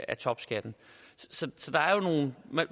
af topskatten